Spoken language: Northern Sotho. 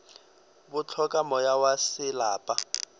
bo hloka moya wa selapa